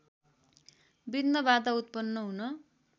विघ्नबाधा उत्पन्न हुन